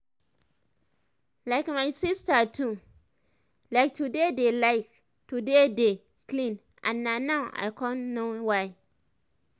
like my sister too like to dey like to dey dey clean and na now i con know why